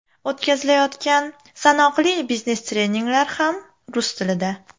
O‘tkazilayotgan sanoqli biznes treninglar ham rus tilida.